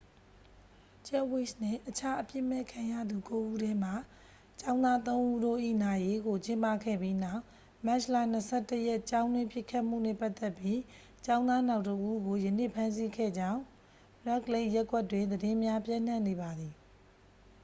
ဂျက်ဖ်ဝိစ်နှင့် အခြားအပြစ်မဲ့ခံရသူ ကိုးဉီးထဲမှ ကျောင်းသားသုံးဉီးတို့၏ နာရေးကို ကျင်းပခဲ့ပြီးနောက် မတ်လ 21 ရက် ကျောင်းတွင်းပစ်ခတ်မှုနှင့် ပတ်သက်ပြီး ကျောင်းသားနောက်တစ်ဦးကို ယနေ့ ဖမ်းဆီးခဲ့ကြေင်း ရက်ဒ်လိတ်ခ် ရပ်ကွက်တွင် သတင်းများ ပျံ့နှံ့နေပါသည်